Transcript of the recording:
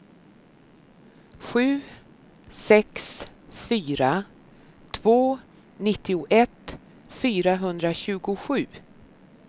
sju sex fyra två nittioett fyrahundratjugosju